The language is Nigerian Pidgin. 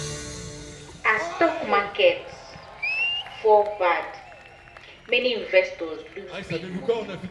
as stock market fall bad many investors lose big money.